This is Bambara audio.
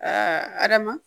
Aa adama